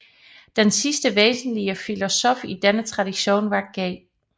Den sidste væsenslige filosof i denne tradition var G